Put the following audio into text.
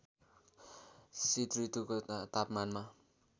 शीत ऋतुको तापमानमा